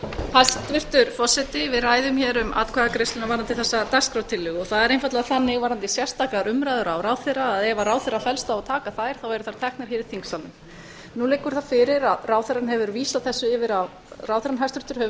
hæstvirtur forseti við ræðum hér um atkvæðagreiðsluna varðandi þessa dagskrártillögu það er einfaldlega þannig varðandi sérstakar umræður á ráðherra að ef ráðherra fellst á að taka þær þá eru þær teknar hér í þingsalnum nú liggur það fyrir að ráðherrann hæstvirtur hefur